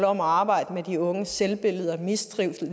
om at arbejde med de unges selvbillede og mistrivsel